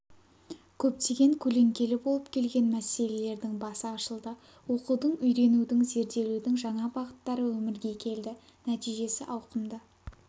көптеген көлеңкелі болып келген мәселелердің басы ашылды оқудың үйренудің зерделеудің жаңа бағыттары өмірге келді нәтижесі ауқымды